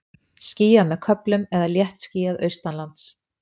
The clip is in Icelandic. Skýjað með köflum eða léttskýjað austanlands